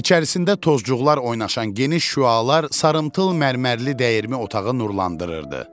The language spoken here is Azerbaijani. İçərisində tozcuqlar oynaşan geniş şüalar sarımtıl mərmərli dəyirmi otağı nurlandırırdı.